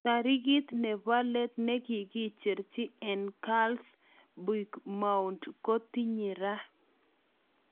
Tarikit nepo let ne kikicherchi eng carles puigddmount ko kotinye ra